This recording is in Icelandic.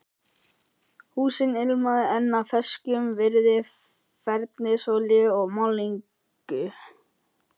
Húsið ilmaði enn af ferskum viði, fernisolíu og málningu.